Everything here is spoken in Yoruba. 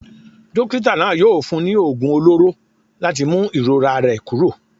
Dókítà náà yóò fún un ní oògùn olóró láti mú ìrora rẹ̀ kúrò.